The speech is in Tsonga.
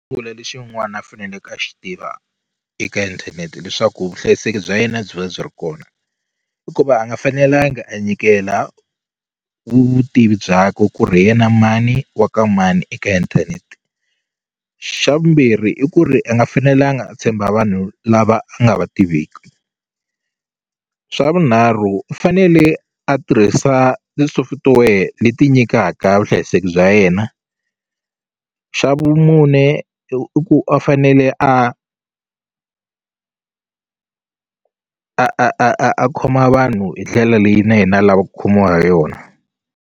lexin'wana a faneleke a xi tiva eka inthanete leswaku vuhlayiseki bya yena byi va byi ri kona i ku va a nga fanelangi a nyikela vutivi bya ku ku ri hi yena mani wa ka mani eka inthanete xa vumbirhi i ku ri a nga fanelanga a tshemba vanhu lava a nga va tiveki swa vunharhu u fanele a tirhisa ti-software leti nyikaka vuhlayiseki bya yena xa vumune i ku a fanele a a a a khoma vanhu hi ndlela leyi na yena a lava ku khomiwa ha yona.